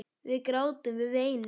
Við grátum, við veinum.